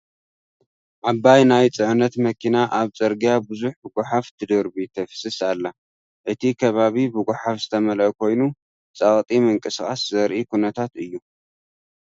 ዓባይ ናይ ጽዕነት መኪና ኣብ ጽርግያ ብዙሕ ጎሓፍ ትድርቢ/ ተፍስስ ኣላ። እቲ ከባቢ ብጎሓፍ ዝተመልአ ኮይኑ፡ ጸቕጢ ምንቅስቓስ ዘርኢ ኩነታት እዩ።